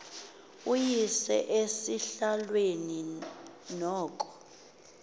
uyise esihlalweni noko